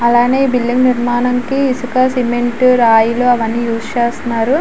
అలానే ఈ బిల్డింగ్ నిర్మాణం కి ఇసుక సిమెంట్ రాయిలు అవన్నీ యూస్ చేస్తున్నారు.